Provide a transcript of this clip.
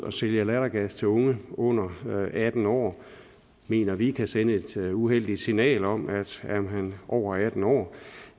at sælge lattergas til unge under atten år mener vi kan sende et uheldigt signal om at er man over atten år